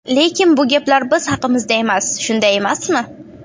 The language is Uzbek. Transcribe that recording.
Lekin bu gaplar biz haqimizda emas, shunday emasmi?